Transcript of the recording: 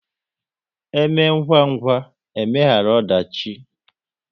Eme ngwa ngwa, e megharu ọdachi